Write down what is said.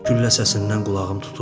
Güllə səsindən qulağım tutuldu.